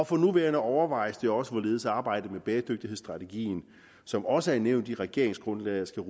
for nuværende overvejes det også hvorledes arbejdet med bæredygtighedsstrategien som også er nævnt i regeringsgrundlaget skal